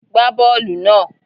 Gbá bọọlu náà!